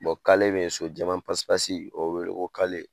kale be yen. So Jaman pasipasi o be wele ko kale.